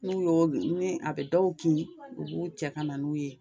N'u y'o ni a bɛ dɔw kin, u b'u cɛ ka na n'u ye